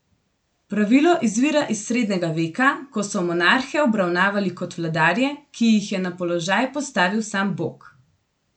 Pravilo izvira iz srednjega veka, ko so monarhe obravnavali kot vladarje, ki jih je na položaj postavil sam bog.